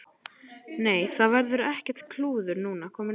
Nei, það verður ekkert klúður núna, komið nóg af slíku.